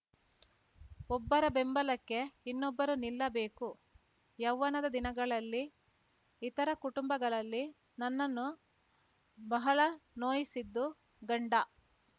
ಒಬ್ಬರ ಬೆಂಬಲಕ್ಕೆ ಇನ್ನೊಬ್ಬರು ನಿಲ್ಲಬೇಕು ಯೌವನದ ದಿನಗಳಲ್ಲಿ ಇತರ ಕುಟುಂಬಗಳಲ್ಲಿ ನನ್ನನ್ನು ಬಹಳ ನೋಯಿಸಿದ್ದು ಗಂಡ